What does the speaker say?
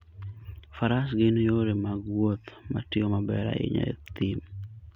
Faras gin yore mag wuoth matiyo maber ahinya e thim.